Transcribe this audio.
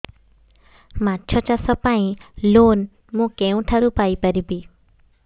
ମାଛ ଚାଷ ପାଇଁ ଲୋନ୍ ମୁଁ କେଉଁଠାରୁ ପାଇପାରିବି